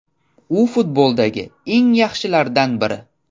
U futboldagi eng yaxshilardan biri”.